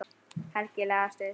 Helgi lagðist fyrir.